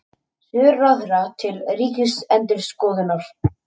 Svör ráðherra til Ríkisendurskoðunar